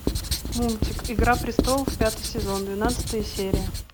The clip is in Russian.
мультик игра престолов пятый сезон двенадцатая серия